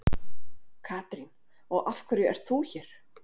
Katrín: Og af hverju ert þú hér?